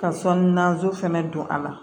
Ka sɔn nazo fɛnɛ don a la